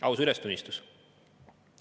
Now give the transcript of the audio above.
Aus ülestunnistus.